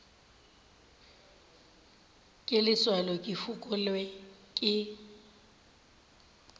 ke letswalo ke fokelwa ke